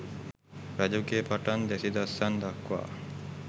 රජුගේ පටන් දැසි දස්සන් දක්වා